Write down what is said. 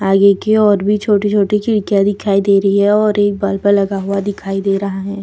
आगे की और भी छोटी-छोटी खिड़कियाँ दिखाई दे रही हैं और एक बल्ब लगा हुआ दिखाई दे रहा है।